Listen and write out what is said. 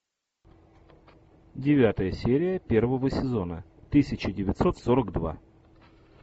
девятая серия первого сезона тысяча девятьсот сорок два